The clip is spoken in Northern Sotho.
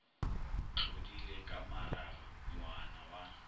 tlodile ka maraga moana wa